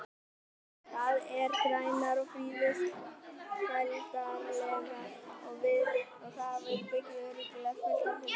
Þær eru grænar og friðsældarlegar og þar býr örugglega fullt af huldufólki.